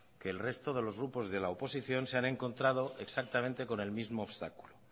que el resto de los grupos de la oposición se han encontrado exactamente con el mismo obstáculo